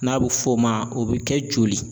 N'a bɛ f'o ma o bɛ kɛ joli.